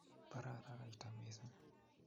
Baraa araraita missing